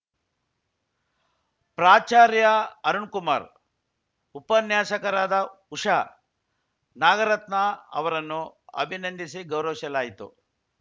ಪ್ರಾಚಾರ್ಯ ಅರುಣ್‌ಕುಮಾರ್‌ ಉಪನ್ಯಾಸಕರಾದ ಉಷಾ ನಾಗರತ್ನಾ ಅವರನ್ನು ಅಭಿನಂದಿಸಿ ಗೌರವಿಸಲಾಯಿತು